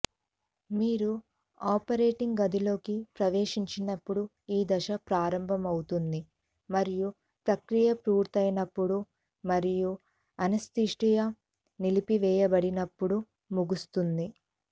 మీరు ఆపరేటింగ్ గదిలోకి ప్రవేశించినప్పుడు ఈ దశ ప్రారంభమవుతుంది మరియు ప్రక్రియ పూర్తయినప్పుడు మరియు అనస్థీషియా నిలిపివేయబడినప్పుడు ముగుస్తుంది